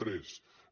quatre